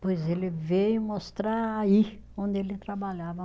Pois ele veio mostrar aí, onde ele trabalhava.